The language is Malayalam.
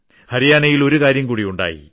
ഹരിയാനയിൽ ഒരു കാര്യം കൂടി ഉണ്ടായി